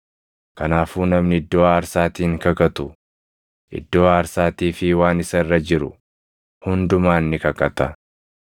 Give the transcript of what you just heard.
Kanaafuu namni iddoo aarsaatiin kakatu, iddoo aarsaatii fi waan isa irra jiru hundumaan ni kakata.